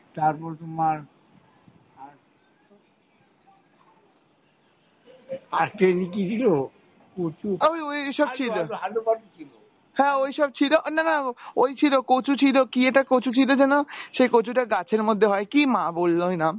আহ ঐ হ্যাঁ ঐ সব ছিল না না ঐ ছিল কচু ছিল কী একটা কচু ছিলো যেনো সেই কচুটা গাছের মধ্যে হয় কী মা বললো নাম